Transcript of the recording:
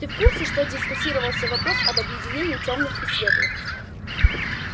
ты в курсе что дискутировался вопрос об объединении тёмных и светлых